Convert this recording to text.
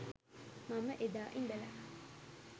මම එදා ඉඳල